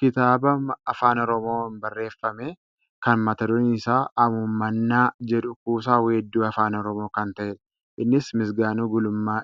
Kitaaba afaan oromoon barreeffame kan mata dureen isaa "hamuummannaa" jedhu kuusaa weedduu afaan oromoo kan ta'edha. Innis Misgaanuu Gulummaa